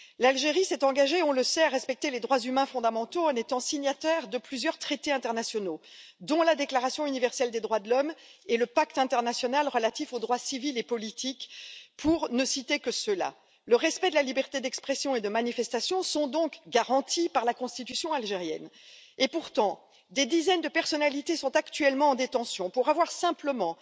L'Algérie s'est engagée nous le savons à respecter les droits humains fondamentaux en étant signataire de plusieurs traités internationaux, dont la déclaration universelle des droits de l'homme et le pacte international relatif aux droits civils et politiques, pour ne citer que ceux là. Le respect de la liberté d'expression et de manifestation sont donc garantis par la Constitution algérienne. Pourtant, des dizaines de personnalités sont actuellement en détention pour avoir simplement